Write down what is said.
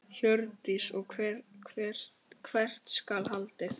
Hjördís: Og hvert skal haldið?